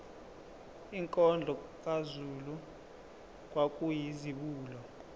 inkondlo kazulu kwakuyizibulo